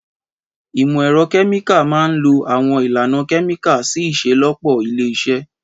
Ìmọ̀ ẹ̀rọ kẹ́míkà máa ń lo àwọn ìlànà kẹ́míkà sí ìṣelọ́pọ̀ ilé-iṣẹ́.